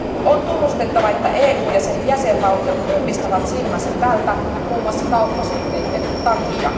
On tunnustettava, että EU ja sen jäsenvaltiot ummistavat silmänsä tältä muun muassa kauppasuhteiden takia.